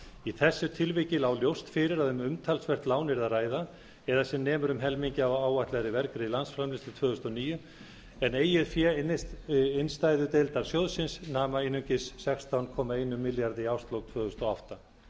í þessu tilviki lá ljóst fyrir að um umtalsvert lán yrði að ræða eða sem nemur um helmingi af áætlaðri vergri landsframleiðslu tvö þúsund og níu en eigið fé innstæðudeildar sjóðsins nam einungis sextán komma einum milljarði króna í árslok tvö þúsund og átta